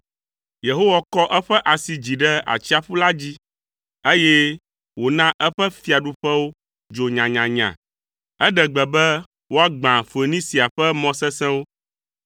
Yehowa kɔ eƒe asi dzi ɖe atsiaƒu la dzi, eye wòna eƒe fiaɖuƒewo dzo nyanyanya. Eɖe gbe be woagbã Foenisia ƒe mɔ sesẽwo.